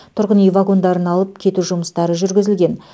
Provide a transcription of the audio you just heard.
тұрғын үй вагондарын алып кету жұмыстары жүргізілген